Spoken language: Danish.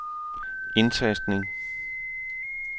indtastning